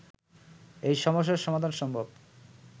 এই সমস্যা সমাধান সম্ভব